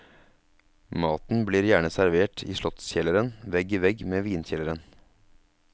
Maten blir gjerne servert i slottskjelleren, vegg i vegg med vinkjelleren.